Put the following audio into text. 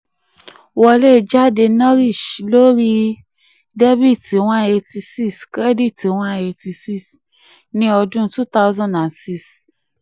wọlé jáde naresh lórí debit one eighty six credit one eighty six ní ọdún two thousand and six.